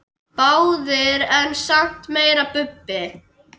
Báðir en samt meira Bubbi.